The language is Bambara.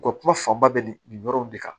U ka kuma fanba bɛ nin nin yɔrɔ in de kan